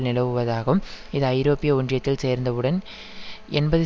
நிலவுவதாகவும் இது ஐரோப்பிய ஒன்றியத்தில் சேர்ந்தவுடன் எண்பது